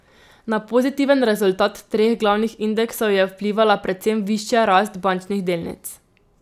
Na pozitiven rezultat treh glavnih indeksov je vplivala predvsem višja rast bančnih delnic.